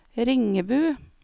Ringebu